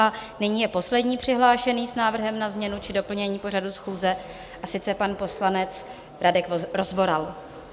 A nyní je poslední přihlášený s návrhem na změnu či doplnění pořadu schůze, a sice pan poslanec Radek Rozvoral.